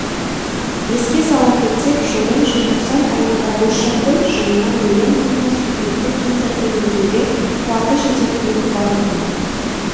еске сала кетсек жылдың желтоқсан айында бозшакөл жылына миллион тонна сульфидті кендерді өңдеуге қуаты жететін байыту